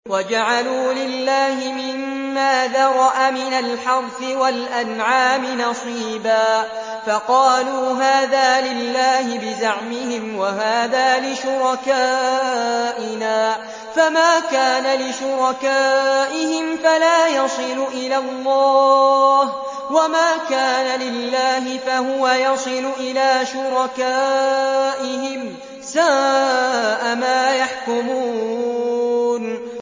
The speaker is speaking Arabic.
وَجَعَلُوا لِلَّهِ مِمَّا ذَرَأَ مِنَ الْحَرْثِ وَالْأَنْعَامِ نَصِيبًا فَقَالُوا هَٰذَا لِلَّهِ بِزَعْمِهِمْ وَهَٰذَا لِشُرَكَائِنَا ۖ فَمَا كَانَ لِشُرَكَائِهِمْ فَلَا يَصِلُ إِلَى اللَّهِ ۖ وَمَا كَانَ لِلَّهِ فَهُوَ يَصِلُ إِلَىٰ شُرَكَائِهِمْ ۗ سَاءَ مَا يَحْكُمُونَ